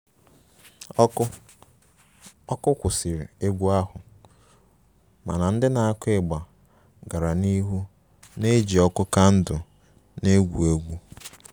Ọkụ ọkụ kwụsịrị egwu ahụ, mana ndị na-akụ igba gara n'ihu na-eji ọkụ kandụl na-egwu egwu